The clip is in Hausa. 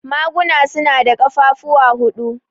Maguna su na da ƙafafuwa huɗu.